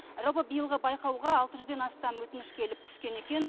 жалпы биылғы байқауға алты жүзден астам өтініш келіп түскен екен